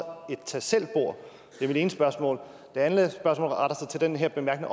et tag selv bord det er mit ene spørgsmål det andet spørgsmål retter sig til den her bemærkning